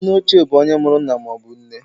Nneochie bụ onye mụrụ nna maọbụ nne.